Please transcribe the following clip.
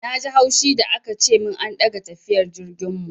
Na ji haushi da aka ce min an ɗaga tafiyar jirgin mu.